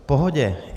V pohodě.